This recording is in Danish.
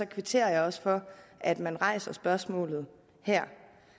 kvitterer jeg også for at man rejser spørgsmålet her